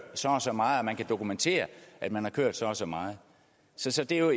så og så meget og at man kan dokumentere at man har kørt så og så meget så så det er jo